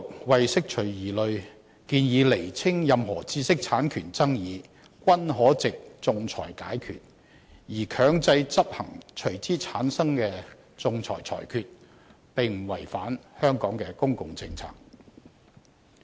為釋除疑慮，政府當局建議釐清任何知識產權爭議，均可藉仲裁解決，而強制執行隨之產生的仲裁裁決，並不違反香港的公共政策。